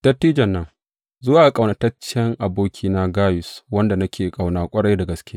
Dattijon nan, Zuwa ga ƙaunataccen abokina Gayus, wanda nake ƙauna ƙwarai da gaske.